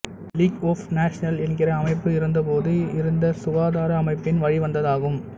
league of Nations என்கின்ற அமைப்பு இருந்தபோது இருந்த சுகாதார அமைப்பின் வழிவந்ததாகும்